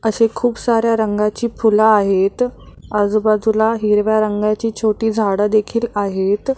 असे खूप साऱ्या रंगाची फुलं आहेत आजुबाजूला हिरव्या रंगाची छोटी झाडं देखील आहेत.